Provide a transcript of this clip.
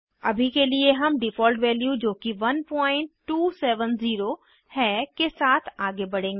अभी के लिए हम डिफ़ॉल्ट वैल्यू जोकि 1270 है के साथ आगे बढ़ेंगे